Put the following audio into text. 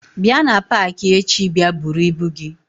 bia na paaki echi bia bụrụ ibu gi.